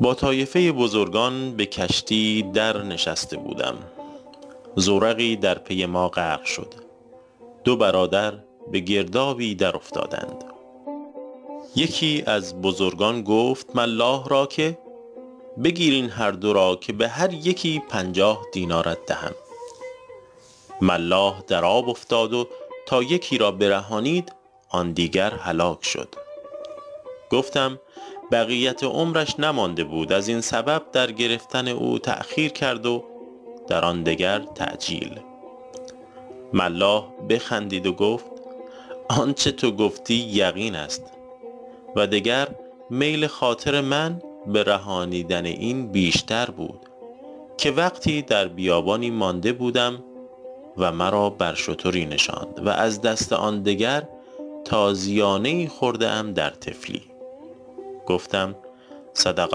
با طایفه بزرگان به کشتی در نشسته بودم زورقی در پی ما غرق شد دو برادر به گردابی در افتادند یکی از بزرگان گفت ملاح را که بگیر این هر دو را که به هر یکی پنجاه دینارت دهم ملاح در آب افتاد و تا یکی را برهانید آن دیگر هلاک شد گفتم بقیت عمرش نمانده بود از این سبب در گرفتن او تأخیر کرد و در آن دگر تعجیل ملاح بخندید و گفت آنچه تو گفتی یقین است و دگر میل خاطر من به رهانیدن این بیشتر بود که وقتی در بیابانی مانده بودم و مرا بر شتری نشاند و از دست آن دگر تازیانه ای خورده ام در طفلی گفتم صدق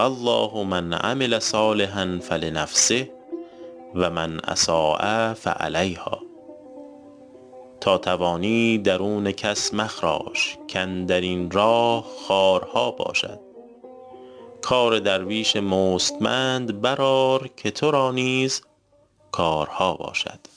الله من عمل صالحا فلنفسه و من أساء فعلیهٰا تا توانی درون کس مخراش کاندر این راه خارها باشد کار درویش مستمند بر آر که تو را نیز کارها باشد